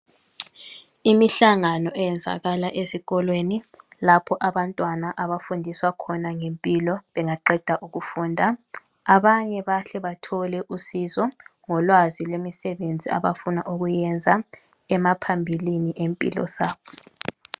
Imihlangano eyenzakala esikolweni lapha abantwana abafundiswa khona ngempilo bengaqeda ukufunda abanye bayahle bathole usizo ngolwazi lwemisebenzi abafuna ukuyenza emaphambilini empilo zabo.